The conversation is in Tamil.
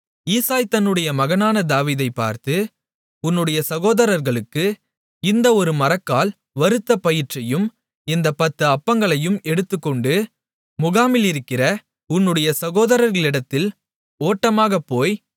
ஈசாய் தன்னுடைய மகனான தாவீதை பார்த்து உன்னுடைய சகோதரர்களுக்கு இந்த ஒரு மரக்கால் வறுத்த பயற்றையும் இந்தப் பத்து அப்பங்களையும் எடுத்துக்கொண்டு முகாமிலிருக்கிற உன்னுடைய சகோதரர்களிடத்தில் ஓட்டமாகப் போய்